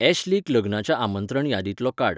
ऍश्लीक लग्नाच्या आमंत्रण यादींतलो काड